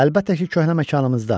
Əlbəttə ki, köhnə məkanımızda.